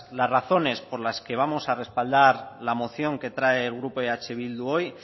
las razones por las que vamos a respaldar la moción que trae el grupo eh bildu hoy